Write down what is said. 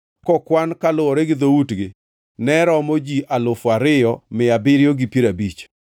kokwan kaluwore gi dhoutgi, ne romo ji alufu ariyo mia abiriyo gi piero abich (2,750).